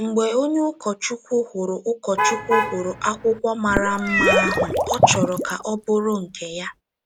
Mgbe onye ụkọchukwu hụrụ ụkọchukwu hụrụ akwụkwọ mara mma ahụ, ọ chọrọ ka ọ bụrụ nke ya.